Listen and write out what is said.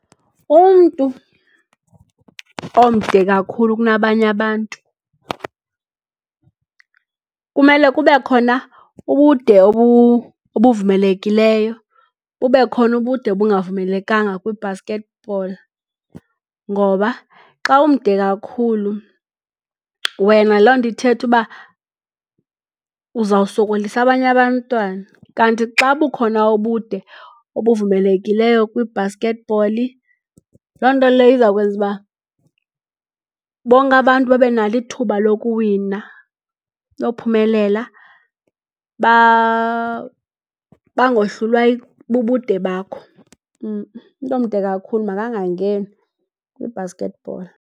Umntu omde kakhulu kunabanye abantu kumele kube khona ubude obuvumelekileyo bube khona ubude obungavumelekanga kwibasketball, ngoba xa umde kakhulu wena loo nto ithetha uba uzawusokolisa abanye abantwana. Kanti xa bukhona ubude obuvumelekileyo kwibhaskethibholi loo nto leyo iza kwenza uba bonke abantu babe nalo ithuba lokuwina, lophumelela bangohlulwa bubude bakho . Umntu omde kakhulu makangangeni kwibhaskethibholi.